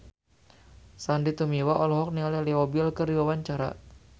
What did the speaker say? Sandy Tumiwa olohok ningali Leo Bill keur diwawancara